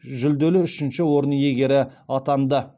жүлделі үшінші орын иегері атанды